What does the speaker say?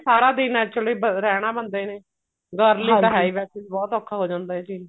ਸਾਰਾ ਦਿਨ actually ਰਹਿਣਾ ਬੰਦੇ ਨੇ girl ਲਈ ਤਾਂ ਵੈਸੇ ਵੀ ਹੈ ਈ ਬਹੁਤ ਔਖਾ ਹੋ ਜਾਂਦਾ ਇਹ ਚੀਜ